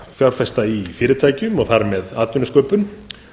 fjárfesta í fyrirtækjum og þar með atvinnusköpun